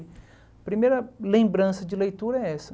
A primeira lembrança de leitura é essa.